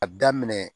A daminɛ